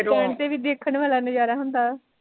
stand ਤੇ ਵੀ ਦੇਖਣ ਵਾਲਾ ਨਜ਼ਾਰਾ ਹੁੰਦਾ